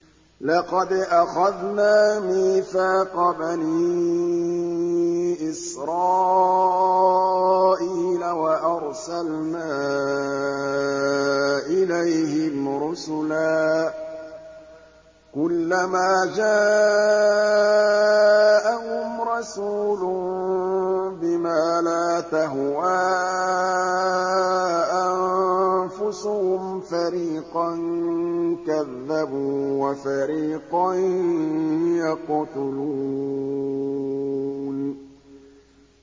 لَقَدْ أَخَذْنَا مِيثَاقَ بَنِي إِسْرَائِيلَ وَأَرْسَلْنَا إِلَيْهِمْ رُسُلًا ۖ كُلَّمَا جَاءَهُمْ رَسُولٌ بِمَا لَا تَهْوَىٰ أَنفُسُهُمْ فَرِيقًا كَذَّبُوا وَفَرِيقًا يَقْتُلُونَ